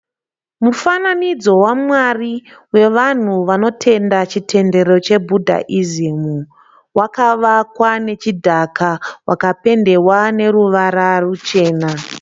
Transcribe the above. Mufananidzo wamwari wevanhu vanotenda chitendero chebhudhaizimu. Wakavakwa nechidhaka wakapendewa neruvara ruchena.